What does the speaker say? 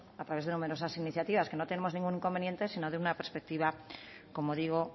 a través de numerosas iniciativas que no tenemos ningún inconveniente sino de una perspectiva como digo